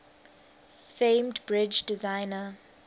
famed bridge designer